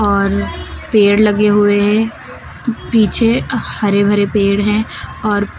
और पेड़ लगे हुए हैं पीछे हरे भरे पेड़ हैं और--